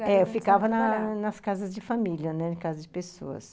É, eu ficava na nas casas de família, né, em casa de pessoas.